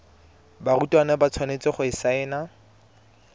barutwana ba tshwanetse go saena